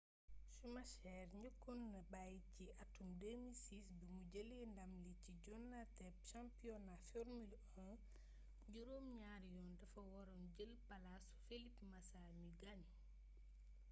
schumacher njëkkoon na bàyyi ci atum 2006 bi mu jëlee ndam li ci joŋanteb championnat formule 1 juróom ñaari yoon dafa waroon jël palaasu felipe massa mi gaañu